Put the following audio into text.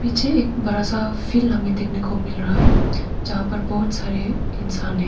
मुझे एक बड़ा सा फील्ड देखने को मिल रहा है जहां पे बहुत सारे इंसान है।